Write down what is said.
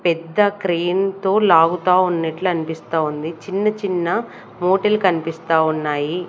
పెద్ద క్రేన్ తో లాగుతా ఉన్నట్లు అనిపిస్తా ఉంది చిన్న చిన్న మూటలు కనిపిస్తా ఉన్నాయి.